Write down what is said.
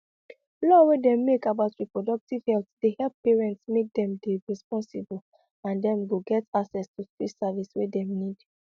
law wey dem make about reproductive health dey help parents make dem dey responsible and dem go get access to free service wey them need